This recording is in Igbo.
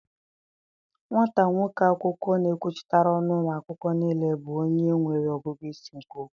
Nwata nwoke akwụkwọ na-ekwuchitara ọnụ ụmụ akwụkwọ niile bụ onye nwere ọgụgụ isi nke ukwuu.